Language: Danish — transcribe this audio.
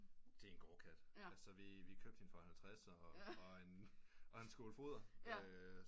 Det er en gårdkat altså vi købte for en halvtredser og en skål fodder